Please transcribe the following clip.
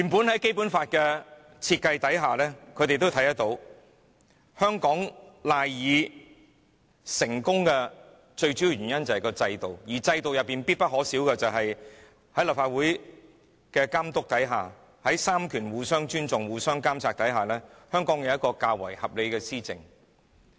在《基本法》下，香港賴以成功的主要原因本來就是我們的制度，而制度必不可少的是接受立法會的監察、三權互相尊重，令香港得以有較為合理的施政。